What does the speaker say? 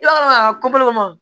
I b'a dɔn a ma